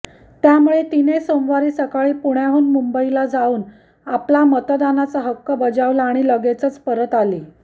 त्यामुळे तिने सोमवारी सकाळी पुण्याहून मुंबईला जाऊन आपला मतदानाचा हक्क बजावला आणि लगेचच परत आली